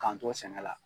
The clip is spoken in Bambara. K'an to sɛnɛ la